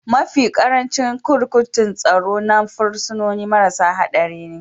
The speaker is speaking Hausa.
Mafi ƙarancin kurkukun tsaro na fursunoni marasa haɗari ne